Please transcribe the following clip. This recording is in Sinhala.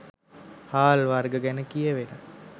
හාල් වර්ග ගැන කියැවෙන